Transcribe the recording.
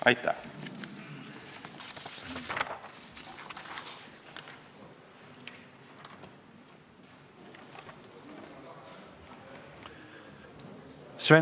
Aitäh!